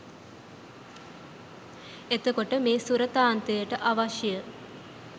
එතකොට මේ සුරතාන්තයට අවශ්‍ය